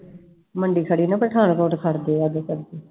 ਮੰਡੀ ਖੜੀ ਨਾ ਪਠਾਨਕੋਟ ਖੜਦੇ ਆ ਓਹਦੇ ਕਰਕੇl